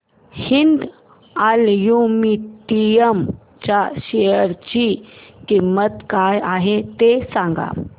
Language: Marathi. हिंद अॅल्युमिनियम च्या शेअर ची किंमत काय आहे हे सांगा